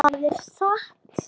Hvað er satt?